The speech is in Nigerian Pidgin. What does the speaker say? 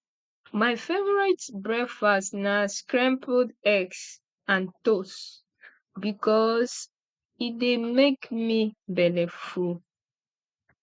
my favorite breakfast na scrambled eggs and toast bikos e dey make me belleful